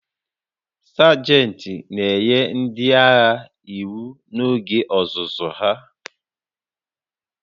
Sajent na-enye ndị agha iwu n'oge ọzụzụ ha